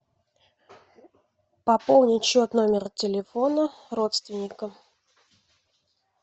пополнить счет номера телефона родственника